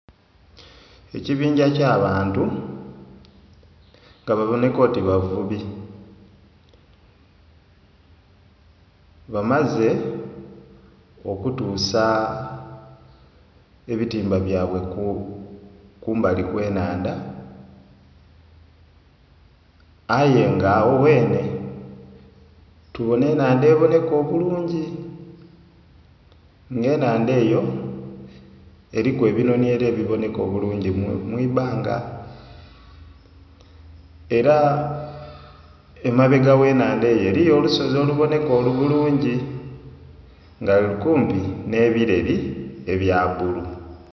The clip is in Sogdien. Ekibingya ky'abantu nga baboneka oti bavubi, bamaze okutuusa ebitimba byabwe kumbali kw'ennhandha, aye nga agho ghenhe tubona ennhandha eboneka obulungi. Nga ennhandha eyo eriku ebinhonhi era ebiboneka obulungi mu ibbanga, era emabega gh'ennhandha eyo eriyo olusozi oluboneka obulungi nga luli kumpi n'ebireri ebya bbulu.